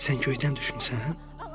Sən göydən düşmüsən?"